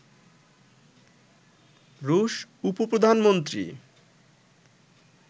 রুশ উপ-প্রধানমন্ত্রী